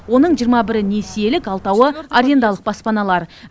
оның жиырма бірі несиелік алтауы арендалық баспаналар